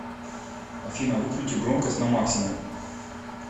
афина выкрути громкость на максимум